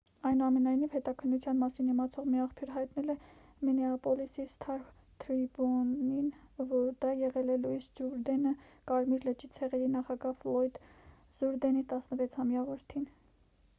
այնուամենայնիվ հետաքննության մասին իմացող մի աղբյուր հայտնել է մինեապոլիսի «սթար թրիբյուն»-ին որ դա եղել է լուիս ջուրդենը՝ կարմիր լճի ցեղերի նախագահ ֆլոյդ ջուրդենի 16-ամյա որդին։